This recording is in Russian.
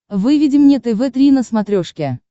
выведи мне тв три на смотрешке